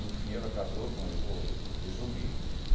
No fim, ela casou com... Eu vou resumir.